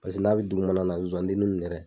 Paseke n'a bɛ dugumana na a bɛ zozandeniw minɛ.